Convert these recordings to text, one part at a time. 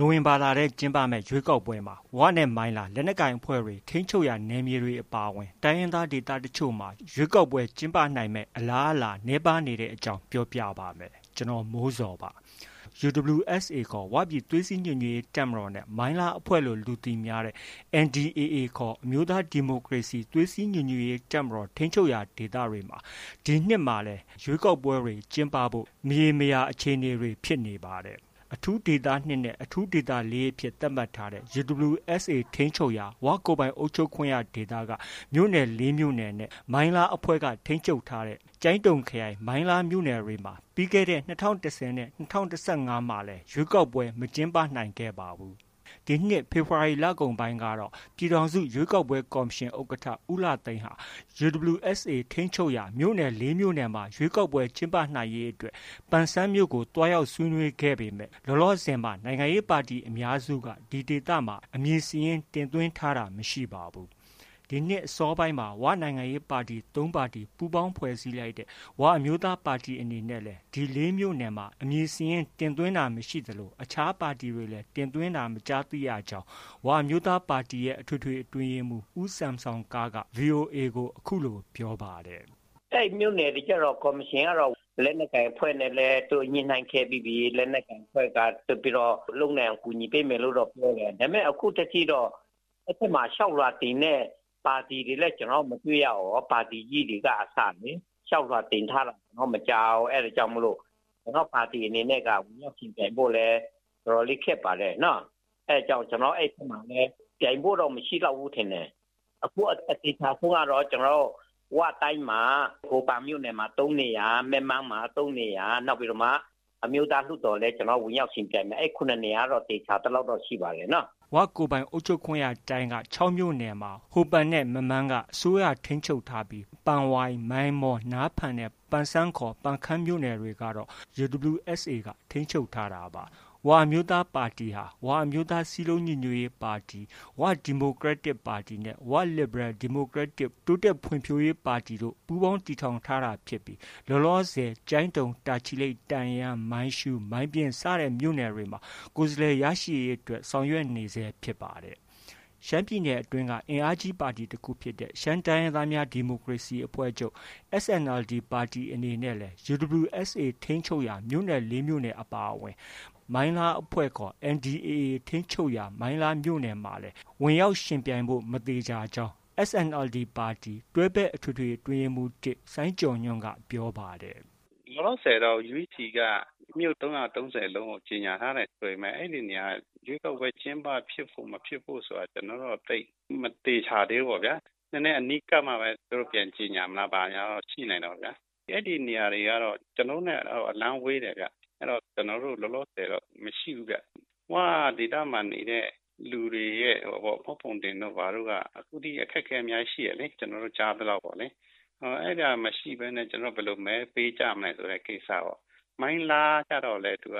နိုဝင်ဘာလထဲ ကျင်းပမယ့် ရွေးကောက်ပွဲမှာ ဝနဲ့ မိုင်းလား လက်နက်ကိုင်အဖွဲ့တွေ ထိန်းချုပ်ရာ နယ်မြေတွေ အပါအဝင် တိုင်းရင်းသား ဒေသတချို့မှာရွေးကောက်ပွဲ ကျင်းပနိုင်မယ့် အလားအလာနည်းပါးနေတဲ့ အကြောင်း ကိုမိုးဇော် ပြောပြပါမယ်။ UWSA ခေါ် ဝပြည်သွေးစည်းညီညွတ်ရေး တပ်မတော်နဲ့ မိုင်းလားအဖွဲ့လို့ လူသိများတဲ့ NDAA ခေါ် အမျိုးသားဒီမိုကရေစီ သွေးစည်းညီညွတ်ရေး တပ်မတော် ထိန်းချုပ်ရာဒေသတွေမှာ ဒီနှစ်လည်း ရွေးကောက်ပွဲတွေ ကျင်းပနိုင်ဖို့ မရေမရာ အခြေအနေနဲ့ ဖြစ်ပါတယ်။ အထူးဒေသ ၂ နဲ့ အထူးဒေသ ၄ အဖြစ် သတ်မှတ်ထားတဲ့ UWSA ထိန်းချုပ်ရာ ဝကိုယ်ပိုင်အုပ်ချုပ်ခွင့်ရ ဒေသက မြို့နယ် ၄မြို့နယ်နဲ့ မိုင်းလားအဖွဲ့က ထိန်းချုပ်ထားတဲ့ ကျိုင်းတုံခရိုင် မိုင်းလားမြို့နယ်တွေမှာ ပြီးခဲ့တဲ့ ၂၀၁၀နဲ့ ၂၀၁၅ ရွေးကောက်ပွဲတွေမှာလည်း ရွေးကောက်ပွဲတွေ မကျင်းပနိုင်ခဲ့ပါဘူး။ ဒီနှစ်ဖေဖော်ဝါရီလကုန်ပိုင်းကတော့ ပြည်ထောင်စုရွေးကောက်ပွဲကော်မရှင် ဥက္ကဌ ဦးလှသိန်းဟာ UWSA ထိန်းချုပ်ရာ မြို့နယ် ၄မြို့နယ်မှာ ရွေးကောက်ပွဲ ကျင်းပနိုင်ရေးအတွက် ပန်ဆန်းမြို့ကို သွားရောက် ဆွေးနွေးခဲ့ပေမဲ့ လောလောဆည်မှာ နိုင်ငံရေးပါတီအများစုဟာ ဒီဒေသတွေမှာ အမည်စာရင်းတင်သွင်း ထားတာမရှိပါဘူး။ ဒီနှစ်အစောပိုင်းမှာ ဝနိုင်ငံရေးပါတီ ၃ပါတီ ပူးပေါင်းဖွဲ့စည်းလိုက်တဲ့ ၀ အမျိုးသားပါတီအနေနဲ့လည်း ဒီ ၄မြို့နယ်မှာ အမည်စာရင်း တင်သွင်းတာမရှိသလို အခြားပါတီတွေလည်း တင်သွင်းတာ မကြားသိရကြောင်း ဝအမျိုးသားပါတီရဲ့ အထွေထွေ အတွင်းရေးမှုး ဦးဆမ်ဆောင်ကားက VOA ကို အခုလို ပြောပါတယ်။ “ အဲဒီမြို့နယ်တွေကတော့ ကော်မရှင်ကတော့ လက်နက်ကိုင်အဖွဲ့နဲ့လည်း သူတို့ ညှိနှိုင်းခဲ့ပြီးပြီ။ လက်နက်ကိုင်အဖွဲ့က ဆက်ပြီးတော့ လုပ်နိုင်အောင် ကူညီပေးမယ်လို့တော့ ပြောတယ်။ ဒါပေမဲ့ အခုထက်ထိတော့ အဲဒီဘက်မှာ လျှောက်လွှာတင်တဲ့ပါတီတွေလည်း မတွေ့ရဘူး။ ပါတီကြီးတွေက အစလေ။ လျှောက်လွှာတင်ထားတာ မကြားဘူး။ အဲဒါကြောင့်မို့လို့ ကျနော်တို့ပါတီအနေနဲ့က ဝင်ရောက်ယှဉ်ပြိုင်ဖို့လည်း တော်တော်လေး ခက်ပါတယ်။ အဲဒါကြောင့် အဲဒီဘက်မှာ ပြိုင်ဖို့တော့ မရှိလောက်ဘူးထင်တယ်။ အခုအသေချာဆုံးကတော့ ၀ တိုင်းမှာ ဟိုပန်မြို့နယ်မှာ ၃နေရာ၊ မက်မန်းမှာ ၃နေရာ၊ နောက်ပြီးတော့မှ အမျိုးသားလွှတ်တော်လည်း ဝင်ရောက်ယှဉ်ပြိုင်မယ် အဲဒီ ၇နေရာတော့ သေချာသလောက်တော့ ရှိပါတယ်နော်။” ၀ ကိုယ်ပိုင်အုပ်ချုပ်ခွင့်ရတိုင်းမှာ ၆မြို့နယ်ရှိရာမှာ ဟိုပန်နဲ့ မက်မန်းက အစိုးရထိန်းချုပ်ထားပြီး ပန်ဝိုင်၊ မိုင်းမော၊ နားဖန်၊ ပန်ဆန်း(ပန်ခမ်း)မြို့နယ်တွေကတော့ UWSA က ထိန်းချုပ်ထားတာပါ။ ၀ အမျိုးသားပါတီဟာ ဝ အမျိုးသား စည်းလုံး ညီညွတ်ရေးပါတီ၊ ဝ ဒီမိုကရက်တစ် ပါတီနှင့် ဝ လစ်ဘရယ် ဒီမိုကရက်တစ် တိုးတက်ဖွံ့ဖြိုးရေး ပါတီ တို့ ပူးပေါင်းတည်ထောင်ထားတာဖြစ်ပြီး ကျိုင်းတုံ၊ တာချီလိတ်၊ တန့်ယန်း၊ မိုင်းရှုး၊ မိုင်းပျဉ်းစတဲ့မြို့နယ်တွေမှာ ကိုယ်စားလှယ်ရရှိရေးအတွက် ဆောင်ရွက်နေဆဲဖြစ်ပါတယ်။ ရှမ်းပြည်နယ်အတွင်းက အင်အားကြီးပါတီတစ်ခုဖြစ်တဲ့ ရှမ်းတိုင်းရင်းသားများဒီမိုကရေစီအဖွဲ့ချုပ် SNLD ပါတီအနေနဲ့လည်း UWSA ထိန်းချုပ်ရာ မြို့နယ် ၄မြို့နယ် အပါအဝင် မိုင်းလားအဖွဲ့ခေါ် NDAA ထိန်းချုပ်ရာ မိုင်းလားမြို့နယ်မှာလည်း ဝင်ရောက်ယှဉ်ပြိုင်ဖု့ိ မသေချာကြောင်း SNLD ပါတီ တွဲဘက်အထွေထွေ အတွင်းရေးမှုး ၁ စိုင်းကျော်ညွှန်က ပြောပါတယ်။ “ လောလောဆည်တော့ UEC က မြို့ ၃၃၀လုံးကို ကြေညာထားတယ်ဆိုပေမဲ့ အဲဒီနေရာက ရွေးကောက်ပွဲ ကျင်းပ ဖြစ်ဖို့၊ မဖြစ်ဖို့ဆိုတာ သိပ်မသေချာသေးဘူးပေါ့ဗျာ။ နည်းနည်းအနီးကပ်မှပဲ သူတို့ ပြန်ကြေညာမလား ဘာညာတော့ ရှိနိုင်တာပေါ့။ အဲဒီနေရာတွေကတော့ ကျနော်တို့နဲ့ အလှမ်းဝေးတယ်။ ကျနော်တို့ လောလောဆည်တော့ မရှိဘူးဗျ။ ၀ ဒေသမှာနေတဲ့ လူတွေရဲ့ မှတ်ပုံတင်တို့ဘာတို့ အခုထိ အခက်အခဲရှိတယ်လေ။ ကျနော်တို့ ကြားသလောက်တော့။ အဲဒါ မရှိဘဲနဲ့ ကျနော်တို့ ဘယ်လို မဲပေးကြမလဲပေါ့။ မိုင်းလားကတော့လည်း သိပ်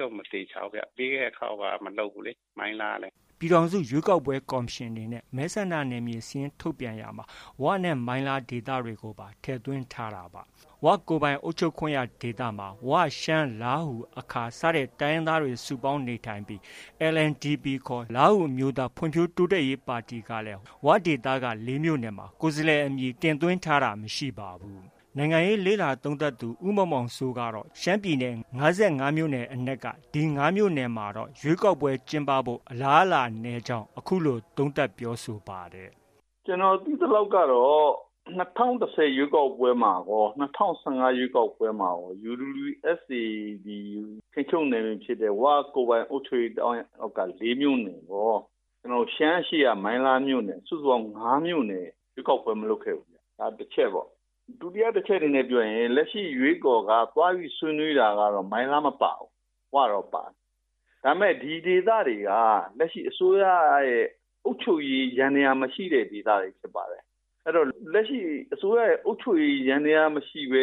တော့ မသေချာဘူးဗျ။ ပြီးတဲ့ ခေါက်က မလုပ်ဘူးလေ မိုင်းလားကလည်း။” ပြည်ထောင်စု ရွေးကောက်ပွဲ ကော်မရှင်ရဲ့ မဲဆန္ဒနယ်မြေစာရင်း ထုတ်ပြန်ချက်မှာတော့ ဝနဲ့မိုင်းလားဒေသတွေကိုလည်း ထည့်သွင်းထားတာပါ။ ၀ ကိုယ်ပိုင်အုပ်ချုပ်ခွင့်ရဒေသမှာ ဝ၊ ရှမ်း၊ လားဟူ၊ အခါ စတဲ့တိုင်းရင်းသားတွေ စုပေါင်းနေထိုင်ပြီး LNDP ခေါ် လားဟူအမျိုးသား ဖွံ့ဖြိုးတိုးတက်ရေးပါတီကလည်း ဝဒေသက ၄ မြို့နယ်မှာ ကိုယ်စားလှယ်အမည် တင်သွင်းထားတာ မရှိပါဘူး။ နိုင်ငံရေး လေ့လာသုံးသပ်သူ ဦးမောင်မောင်စိုးကတော့ ရှမ်းပြည်နယ် ၅၅မြို့နယ်မှာ ဒီ ၅မြို့နယ်မှာတော့ ရွေးကောက်ပွဲ ကျင်းပဖို့ အလားအလာနည်းကြောင်း အခုလို သုံးသပ်ပြောဆိုပါတယ်။ “ ကျနော် သိသလောက်ကတော့ ၂၀၁၀ ရွေးကောက်ပွဲမှာကော၊ ၂၀၁၅ရွေးကောက်ပွဲမှာကော UWSA ဒီ ထိန်းချုပ်နယ်မြေဖြစ်တဲ့ ၀ ကိုယ်ပိုင်အုပ်ချုပ်ရေးတိုင်းအောက်က ၄မြို့နယ်ရော၊ ရှမ်းအရှေ့က မိုင်းလားမြို့နယ် စုစုပေါင်း ၅မြို့နယ် ရွေးကောက်ပွဲ မလုပ်ခဲ့ဘူး။ ဒါ တစ်ချက်ပေါ့။ ဒုတိယတစ်ချက်အနေနဲ့ ပြောရင် လက်ရှိ ရွေးကော်က ဆွေးနွေးတာကတော့ မိုင်းလားမပါဘူး။ ၀ တော့ ပါတယ်။ ဒါပေမဲ့ ဒီဒေသတွေက လက်ရှိ အစိုးရရဲ့ အုပ်ချုပ်ရေး ယန္တရားမရှိတဲ့ ဒေသတွေဖြစ်ပါတယ်။ အဲတော့ လက်ရှိ အစိုးရရဲ့ အုပ်ချုပ်ရေးယန္တရား မရှိဘဲ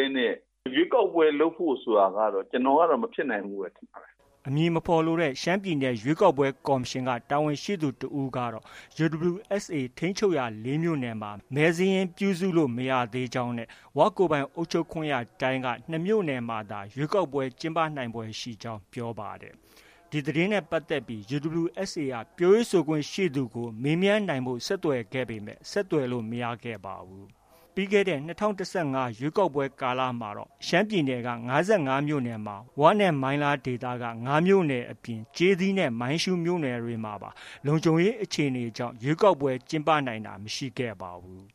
ရွေးကောက်ပွဲ လုပ်ဖို့ ဆိုတာကတော့ ကျနော်ကတော့ မဖြစ်နိုင်ဘူးလို့ပဲ ထင်ပါတယ်။” အမည်မဖော်လိုတဲ့ ရှမ်းပြည်နယ် ရွေးကောက်ပွဲ ကော်မရှင်က တာဝန်ရှိသူ တစ်ဦးကတော့ UWSA ထိန်းချုပ်ရာ ၄မြို့နယ်မှာ မဲစာရင်း ပြုစုလို့ မရသေးကြောင်းနဲ့ ၀ ကိုယ်ပိုင်အုပ်ချုပ်ခွင့်ရတိုင်းက ၂မြို့နယ်မှာသာ ရွေးကောက်ပွဲ ကျင်းပနိုင်ဖွယ်ရှိကြောင်း ပြောပါတယ်။ ဒီသတင်းနဲ့ပတ်သက်ပြီး UWSA က ပြောရေးဆိုခွင့်ရှိသူကို မေးမြန်းနိုင်ဖို့ ဆက်သွယ်ခဲ့ပေမဲ့ ဆက်သွယ်လို့ မရခဲ့ပါဘူး။ ပြီးခဲ့တဲ့ ၂၀၁၅ရွေးကောက်ပွဲကာလမှာတော့ ရှမ်းပြည်နယ်က ၅၅မြို့နယ်မှာ ဝနဲ့ မိုင်းလား ၅မြို့နယ်အပြင် ကျေးသီးနဲ့မိုင်းရှုးမြို့နယ်တွေမှာပါ လုံခြုံရေးအခြေအနေတွေကြောင့် ရွေးကောက်ပွဲ ကျင်းပနိုင်တာ မရှိခဲ့ပါဘူး